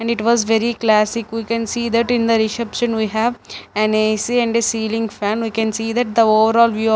and it was very classic we can see that in the reception we have an A_C and a ceiling fan we can see that the overall view of--